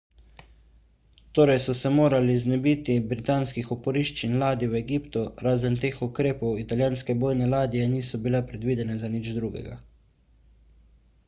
torej so se morali znebiti britanskih oporišč in ladij v egiptu razen teh ukrepov italijanske bojne ladje niso bile predvidene za nič drugega